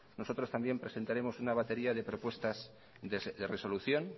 nosotros también presentaremos una batería de propuestas de resolución